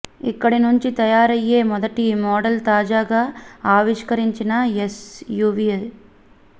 ఇక్కడి నుంచి తయారయ్యే మొదటి మోడల్ తాజాగా ఆవిష్కరించిన ఎస్ యూవీయే